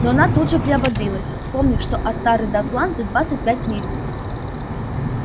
но она тут же приободрилась вспомнив что от тары до атланты двадцать пять миль